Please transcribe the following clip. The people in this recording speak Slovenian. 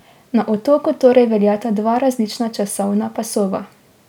Na otoku torej veljata dva različna časovna pasova.